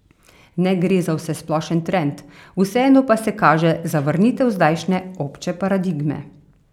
Ne gre za vsesplošen trend, vseeno pa se kaže zavrnitev zdajšnje, obče paradigme.